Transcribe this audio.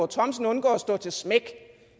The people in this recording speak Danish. thomsen undgår at stå til smæk